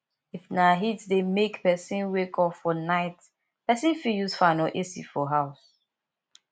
if na heat dey make person wake up for night person fit use fan or ac for house